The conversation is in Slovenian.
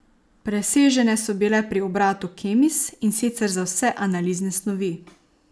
Presežene so bile pri obratu Kemis, in sicer za vse analizne snovi.